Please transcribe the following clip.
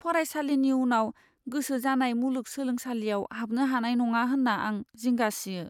फरायसालिनि उनाव गोसो जानाय मुलुगसोलोंसालियाव हाबनो हानाय नङा होन्ना आं जिंगा सियो।